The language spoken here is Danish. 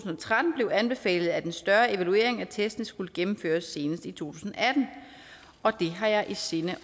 tretten blev anbefalet at en større evaluering af testen skulle gennemføres senest i to tusind og atten og det har jeg i sinde